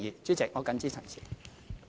主席，我謹此陳辭。